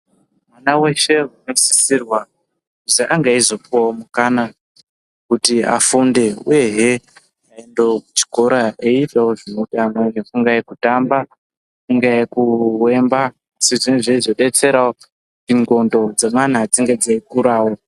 Mwana weshe unosisirwa kuzi ange eizopiwawo mukana kuti afunde uyehe aendewo kuchikora eiitawo zvinoitawo amwei kungaa kutamba, kungaa kuyemba zvinge zveizobetserawo kuti ndxondo dzemwana dzinge dzeikura.